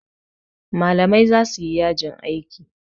malamai za su yi yajin aiki